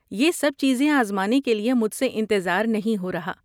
یہ سب چیزیں آزمانے کے لیے مجھ سے انتظار نہیں ہو رہا۔